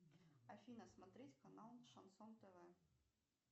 афина смотреть канал шансон тв